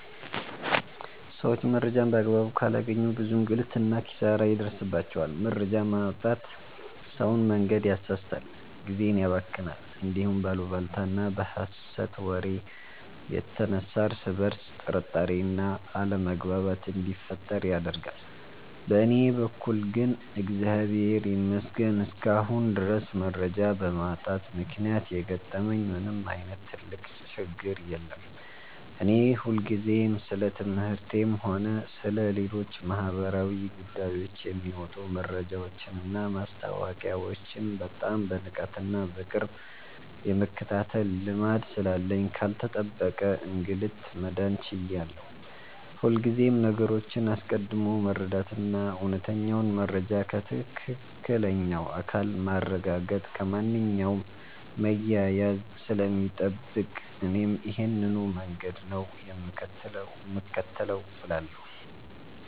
ሰዎች መረጃን በአግባቡ ካላገኙ ብዙ እንግልትና ኪሳራ ይደርስባቸዋል። መረጃ ማጣት ሰውን መንገድ ያሳስታል፣ ጊዜን ያባክናል፣ እንዲሁም በአሉባልታና በሐሰት ወሬ የተነሳ እርስ በርስ ጥርጣሬና አለመግባባት እንዲፈጠር ያደርጋል። በእኔ በኩል ግን እግዚአብሔር ይመስገን እስካሁን ድረስ መረጃ በማጣት ምክንያት የገጠመኝ ምንም ዓይነት ትልቅ ችግር የለም። እኔ ሁልጊዜም ስለ ትምህርቴም ሆነ ስለ ሌሎች ማኅበራዊ ጉዳዮች የሚወጡ መረጃዎችንና ማስታወቂያዎችን በጣም በንቃትና በቅርብ የመከታተል ልማድ ስላለኝ ካልተጠበቀ እንግልት መዳን ችያለሁ። ሁልጊዜም ነገሮችን አስቀድሞ መረዳትና እውነተኛውን መረጃ ከትክክለኛው አካል ማረጋገጥ ከማንኛውም መያያዝ ስለሚጠብቅ እኔም ይሄንኑ መንገድ ነው የምከተለው እላለሁ።